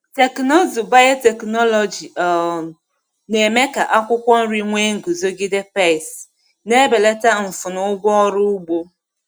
Teknụzụ biotechnology um na-eme ka akwụkwọ nri nwee nguzogide pesti, na-ebelata mfu na ụgwọ ọrụ ugbo.